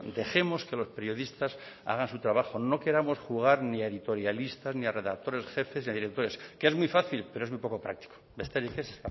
dejemos que los periodistas hagan su trabajo no queramos jugar ni a editorialistas ni a redactores jefes ni a directores que es muy fácil pero es muy poco práctico besterik ez